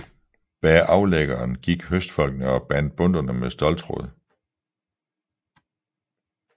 Bag aflæggeren gik høstfolkene og bandt bundtene med ståltråd